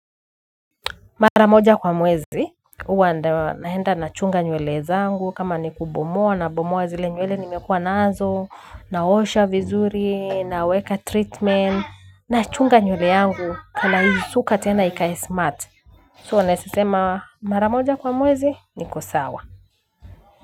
Mara moja kwa mwezi huwa ndio naenda nachunga nywele zangu kama ni kubomoa na bomoa zile nywele nimekuwa nazo na osha vizuri na weka treatment nachunga nywele yangu na naisuka tena ikae smart so nasema maramoja kwa mwezi niko sawa.